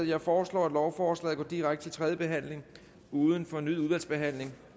jeg foreslår at lovforslaget går direkte til tredje behandling uden fornyet udvalgsbehandling